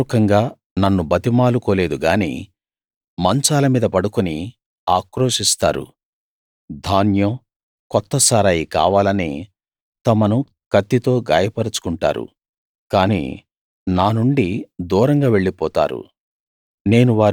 హృదయ పూర్వకంగా నన్ను బతిమాలుకోలేదు గానీ మంచాల మీద పడుకుని ఆక్రోశిస్తారు ధాన్యం కొత్త సారాయి కావాలని తమను కత్తితో గాయపరచుకుంటారు కానీ నా నుండి దూరంగా వెళ్ళిపోతారు